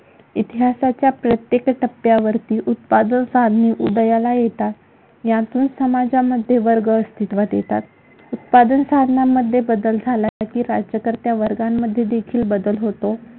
इतिहासाच्या प्रत्येक टप्प्यावरती उत्पादन साधने उदयाला येतात यातून समाजामध्ये वर्ग अस्तित्वात येतात. उत्पादन साधनांमध्ये बदल झाला की, राज्यकर्त्यां वर्गांमध्ये देखील बदल होतो.